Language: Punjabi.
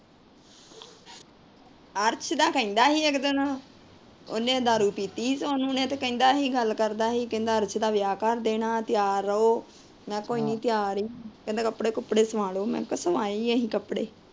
ਅਰਸ਼ ਦਾ ਕਹਿੰਦਾ ਸੀ ਇੱਕ ਦਿਨ। ਉਹਨੇ ਦਾਰੂ ਪੀਤੀ ਸੀ। ਤੇ ਕਹਿੰਦਾ ਸੀ ਗੱਲ ਕਰਦਾ ਸੀ। ਕਹਿੰਦਾ ਅਰਸ਼ ਦਾ ਵਿਆਹ ਕਰ ਦੇਣਾ। ਤਿਆਰ ਰਹੋ। ਮੈ ਕੋਨੀ ਤਿਆਰ ਈ ਆ। ਕਹਿੰਦਾ ਕੱਪੜੇ ਕੁਪੜੇ ਸਵਾ ਲੋ। ਮੈ ਕਿਹਾ ਸਵਾਈ ਏ ਅਸੀਂ ਕੱਪੜੇ।